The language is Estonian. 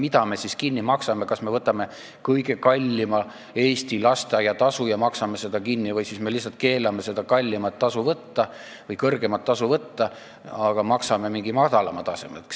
Mida me siis teeme: kas me võtame kõige suurema lasteaiatasu Eestis ja hakkame selles ulatuses kinni maksma või me lihtsalt keelame seda kõige suuremat tasu võtta ja maksame mingi madalama määra alusel?